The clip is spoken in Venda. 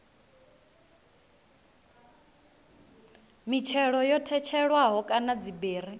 mitshelo yo tshetshelelwaho kana dziberi